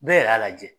Bɛɛ yɛrɛ y'a lajɛ